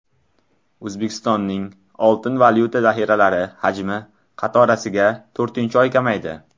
O‘zbekistonning oltin-valyuta zaxiralari hajmi qatorasiga to‘rtinchi oy kamaydi.